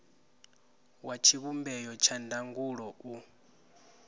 wa tshivhumbeo tsha ndangulo u